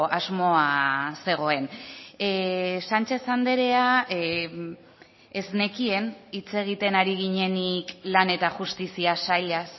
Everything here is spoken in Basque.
asmoa zegoen sánchez andrea ez nekien hitz egiten ari ginenik lan eta justizia sailaz